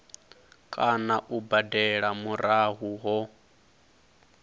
kana u badela murahu ho